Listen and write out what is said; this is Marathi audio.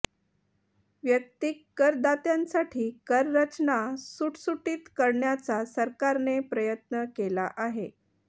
वैयक्तिक करदात्यांसाठी कर रचना सुटसुटीत करण्याचा सरकारने प्रयत्न केला आहे